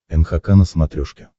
нхк на смотрешке